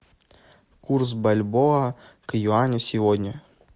курс бальбоа к юаню сегодня